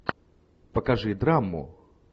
покажи драму